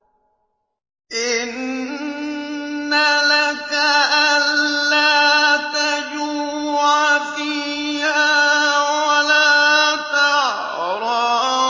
إِنَّ لَكَ أَلَّا تَجُوعَ فِيهَا وَلَا تَعْرَىٰ